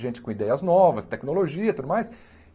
Gente com ideias novas, tecnologia e tudo mais.